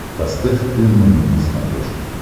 поставь т номер на смотрешке